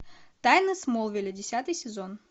тайны смолвиля десятый сезон